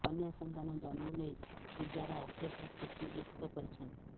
କନ୍ୟା ସନ୍ତାନ ଜନ୍ମ ନେଇ ପୂଜାରା ଅଶେଷ ଖୁସିବ୍ୟକ୍ତ କରିଛନ୍ତି